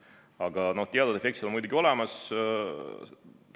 Aga teatud efektid on muidugi olemas.